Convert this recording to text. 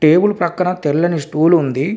Table పక్కన తెల్లని stool ఉంది.